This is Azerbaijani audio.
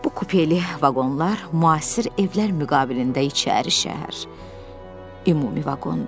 Bu kupeli vaqonlar müasir evlər müqabilində içəri şəhər ümumi vaqondur.